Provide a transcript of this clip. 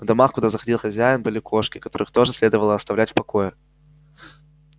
в домах куда заходил хозяин были кошки которых тоже следовало оставлять в покое